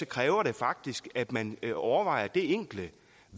kræver det faktisk at man overvejer det enkle